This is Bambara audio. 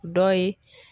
Dɔ ye